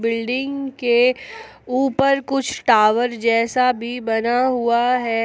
Building के ऊपर कुछ टावर जैसा भी बना हुआ है।